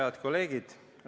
Head kolleegid!